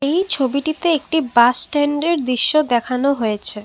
এই ছবিটিতে একটি বাস স্ট্যান্ডের দৃশ্য দেখানো হয়েছে ।